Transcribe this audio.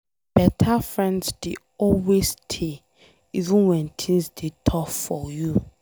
Beta friends dey always stay even wen things dey tough for you.